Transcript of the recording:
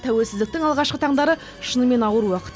тәуелсіздіктің алғашқы таңдары шынымен ауыр уақыт